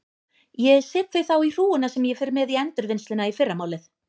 Ég set þau þá í hrúguna sem ég fer með í endurvinnsluna í fyrramálið.